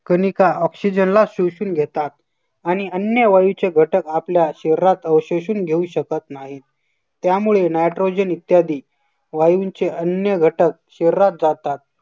Kanika oxygen ला शोषून घेतात. आणि अन्य वायूचे घटक आपल्या शरीरात अवशेषून घेऊ शकत नाही त्यामुळे nitrogen इत्यादी वायूचे अन्य घटक शरीरात जातात.